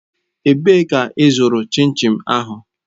Ebee ka ịzụrụ chin chin ahụ?